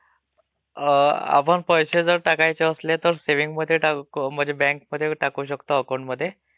अं.... आपण पैसे जर टाकायचे असले तर सेव्हींगमध्ये बॅंकमध्ये म्हणजे टाकू शकतो अकाऊंटमध्ये